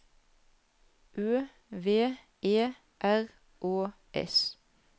Ø V E R Å S